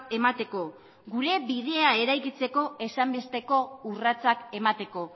emateko gure bidea eraikitzeko ezinbesteko urratsak emateko